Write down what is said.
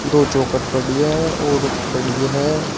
दो चौखट पड़ी है और खड़ी है।